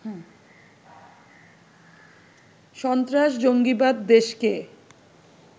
সস্ত্রাস-জঙ্গিবাদ দেশকে